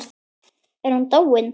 Er hún dáin?